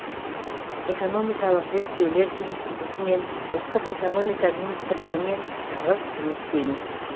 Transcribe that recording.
экономикалық зерттеулер институтымен ұлттық экономика министрлігімен тығыз жұмыс істейміз